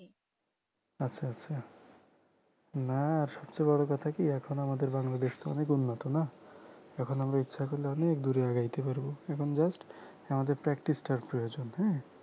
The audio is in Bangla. আচ্ছা আচ্ছা না সবচেয়ে বড় কথা কি এখন আমাদের বাংলাদেশ তো অনেক উন্নত না এখন আমরা ইচ্ছে করলে অনেক দূরে এগোতে পারব এখন just আমাদের practice টার প্রয়োজন হ্যাঁ